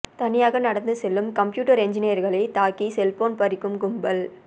தனியாக நடந்து செல்லும் கம்ப்யூட்டர் என்ஜினீயர்களை தாக்கி செல்போன் பறிக்கும் கும்பல்